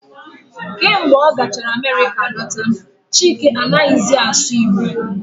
Kemgbe ọ gachara Amerịka lọta, Chike anaghị zi asụ Igbo